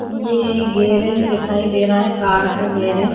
ये गेरेज दिखाई दे रहा हैं कार का गेरेज --